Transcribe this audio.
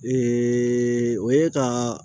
o ye ka